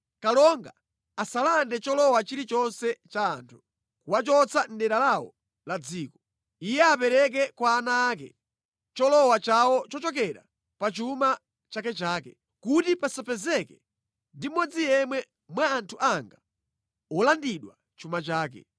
Kalonga asalande cholowa chilichonse cha anthu, kuwachotsa mʼdera lawo la dziko. Iye apereke kwa ana ake cholowa chawo chochokera pa chuma chakechake, kuti pasapezeke ndi mmodzi yemwe mwa anthu anga wolandidwa chuma chake.’ ”